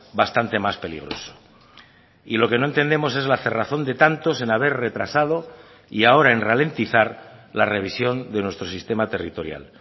bastante más peligroso y lo que no entendemos es la cerrazón de tantos en haber retrasado y ahora en ralentizar la revisión de nuestro sistema territorial